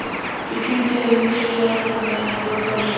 Ég tíndi af mér spjarirnar meðan hún brá sér fram.